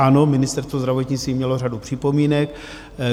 Ano, Ministerstvo zdravotnictví mělo řadu připomínek.